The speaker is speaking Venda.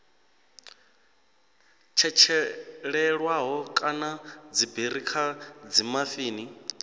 tshetshelelwaho kana dziberi kha dzimafini